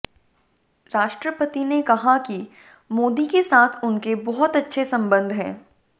राष्ट्रपति ने कहा कि मोदी के साथ उनके बहुत अच्छे संबंध हैं